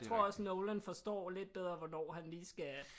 Tror også Nolan forstår lidt bedre hvornår han lige skal